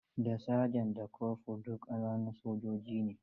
Da Saja da Kofur duk ƙananun sojoji ne.